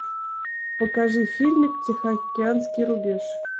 покажи фильм тихоокеанский рубеж